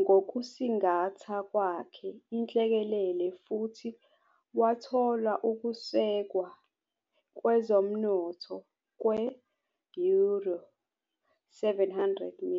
ngokusingatha kwakhe inhlekelele futhi wathola ukusekelwa kwezomnotho kwe- euro 700m.